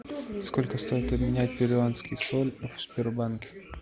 сколько стоит обменять перуанский соль в сбербанке